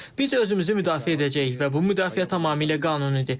Biz özümüzü müdafiə edəcəyik və bu müdafiə tamamilə qanunidir.